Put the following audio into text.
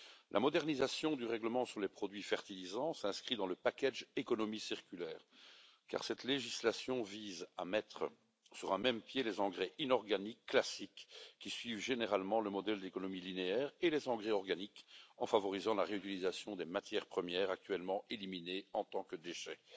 La modernisation du règlement sur les produits fertilisants s'inscrit dans le paquet économie circulaire, car cette législation vise à mettre sur un même pied les engrais inorganiques classiques, qui suivent généralement le modèle d'économie linéaire, et les engrais organiques en favorisant la réutilisation des matières premières actuellement éliminées en tant que déchets.